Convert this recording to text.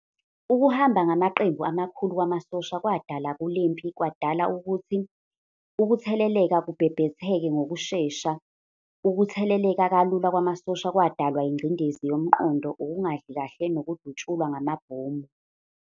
Ukuhamba ngamaqembu amakhulu kwamasosha kwadala kulempi kwadala ukuthi ukutheleleka kubhebheheke ngokushesha, ukutheleleka kalula kwamasosha kwadalwa ingcindezi yomqondo, ukungadli kahle nokudutshulwa ngamabhomu.